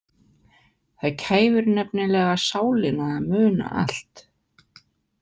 Það kæfir nefnilega sálina að muna allt.